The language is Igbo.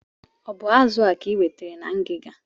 O bu azụ a ka I nwetere na ngiga?